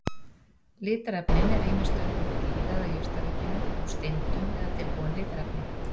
Litarefnin eru ýmist unnin úr dýra- eða jurtaríkinu, úr steindum eða tilbúin litarefni.